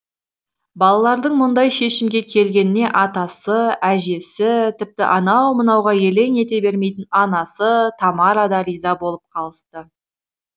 балалардың мұндай шешімге келгеніне атасы әжесі тіпті анау мынауға елең ете бермейтін анасы тамара да риза болып қалысты